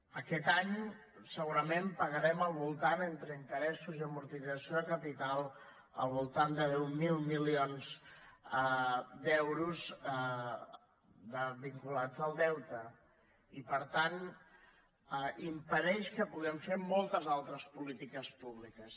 aquest any segurament pagarem entre interessos i amortització de capital al voltant de deu mil milions d’euros vinculats al deute i per tant impedeix que puguem fer moltes altres polítiques públiques